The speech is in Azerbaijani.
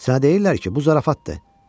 Sənə deyirlər ki, bu zarafatdır.